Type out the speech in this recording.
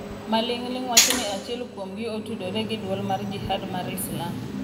Maling'ling' wachoni achiel kuom gi otudore gi Duol mar Jihad mar Islam.